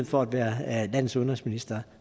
for at være landes udenrigsminister